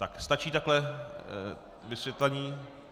Tak, stačí takto vysvětlení?